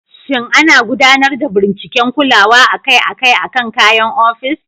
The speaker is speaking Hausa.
Shin ana gudanar da binciken kulawa akai-akai akan kayan ofis?